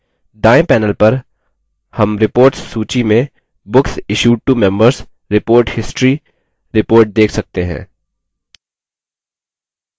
दायें panel पर हम reports सूची में books issued to members: report history report देख सकते हैं